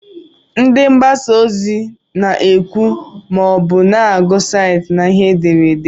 Ndị mgbasa ozi na-ekwu ma ọ bụ na-agụ site na ihe ederede.